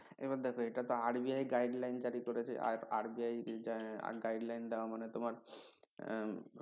এবার দেখো এটা তো RBI guideline জারি করেছে আর RBI guideline দেওয়া মানে তোমার